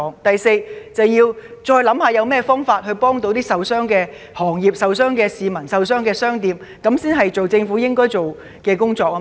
第四，政府必須再思考有何方法協助受傷的行業、受傷的市民和商店，這才是政府該做的工作。